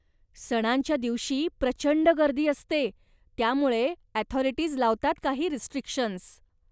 सणांच्या दिवशी, प्रचंड गर्दी असते, त्यामुळे अॅथॉरिटीज लावतात काही रिस्ट्रिक्शन्स.